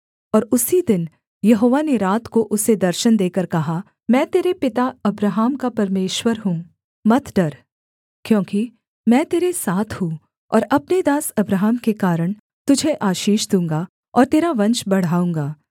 और उसी दिन यहोवा ने रात को उसे दर्शन देकर कहा मैं तेरे पिता अब्राहम का परमेश्वर हूँ मत डर क्योंकि मैं तेरे साथ हूँ और अपने दास अब्राहम के कारण तुझे आशीष दूँगा और तेरा वंश बढ़ाऊँगा